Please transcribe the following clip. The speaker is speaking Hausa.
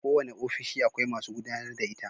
Kowanne ofishi akwai masu gudAnar da ita